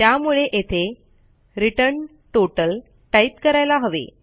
त्यामुळे येथे return total type करायला हवे